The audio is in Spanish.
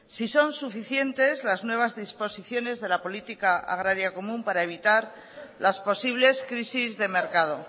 si son suficientes las nuevas disposiciones de la política agraria común para evitar las posibles crisis de mercado